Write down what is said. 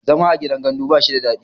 zama a gidan gandu ba shi da dadi